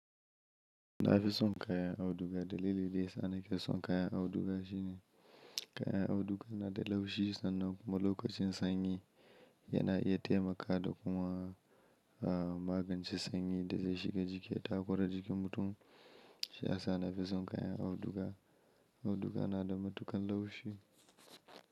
Na fi son kayan auduga dalili daya sa nake son kayan auduga shine kayan auduga na da laushi sannan kuma lokacin sanyi yana iya taimaka da kuma, eh magance sanyi da zai shiga jiki ya takura jikin mutum. Shi ya sa na fi son kayan auduga. Auduga na da matukar laushi.